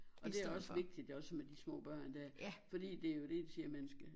Og det er også vigtigt også med de små børn der fordi det jo det de siger man skal